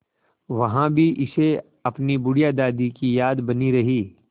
वहाँ भी इसे अपनी बुढ़िया दादी की याद बनी रही